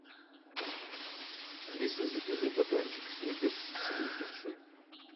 алиса закажи батончик сникерс самый большой